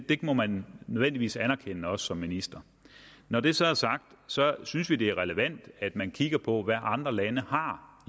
det må man nødvendigvis anerkende også som minister når det så er sagt synes vi det er relevant at man kigger på hvad andre lande har